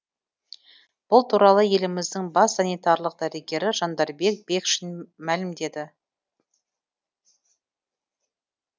бұл туралы еліміздің бас санитарлық дәрігері жандарбек бекшин мәлімдеді